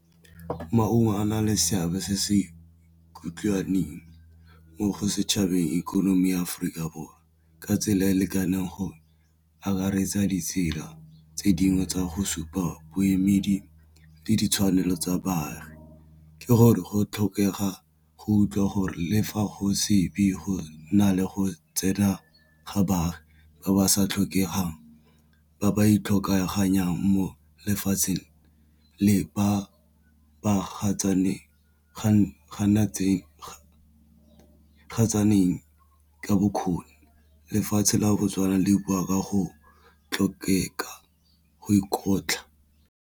Maungo a na le seabe se se kutlwaneng mo setšhabeng ikonomi ya Aforika Borwa ka tsela e e lekaneng go akaretsa ditsela tse baagi tsa go supa boemedi le ditshwanelo tsa baagi ke gore go tlhokega go utlwa gore le fa go se be go na le go tsena ga baagi ba ba sa tlhokegang ba ba ikgokaganya mo lefatsheng le ba ganatsang tsa bokgoni lefatshe la Botswana le bua ka go tlhokega go dikotla.